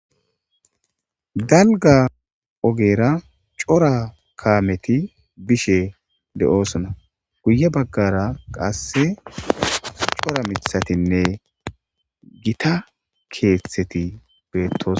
Dalga ogera cora kamet bishe dosona, guye bagara qase cora mithatinne Gita kethet betosona.